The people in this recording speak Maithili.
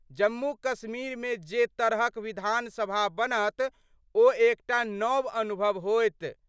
जम्मू कश्मीर मे जे तरहक विधानसभा बनत ओ एकटा नव अनुभव होयत।